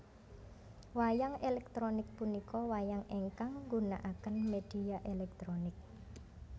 Wayang elektronik punika wayang ingkang nggunaaken media elektronik